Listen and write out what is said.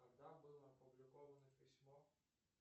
когда было опубликовано письмо